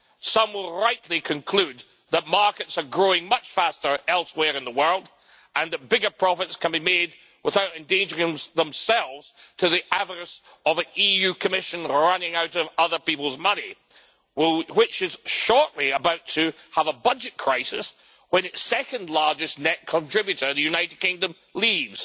Some will rightly conclude that markets are growing much faster elsewhere in the world and that bigger profits can be made without endangering themselves to the avarice of an EU Commission running out of other people's money, which is shortly about to have a budget crisis when its second largest net contributor, the United Kingdom, leaves.